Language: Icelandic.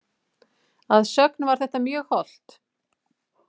Að sögn var þetta mjög hollt.